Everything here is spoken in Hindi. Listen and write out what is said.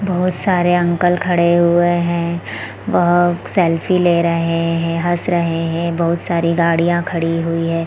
बहोत सारे अंकल खड़े हुए है बहोत सेल्फी ले रहे है हँस रहे है बहुत सारी गाड़ियाँ खड़ी हुई है।